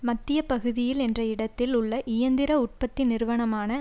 மத்திய பகுதியில் என்ற இடத்தில் உள்ள இயந்திர உற்பத்தி நிறுவனமான